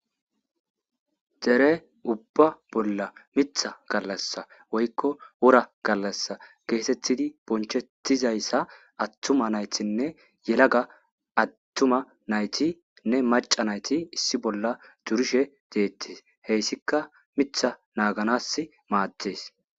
Dere ubba bolla mitha gallasa woyko wora gallasa getetidi eretizaysa attuma naytinne yelaga attuma naytinne maca nayti issi bolla durishe deetes heytika mitha nagganasi maades.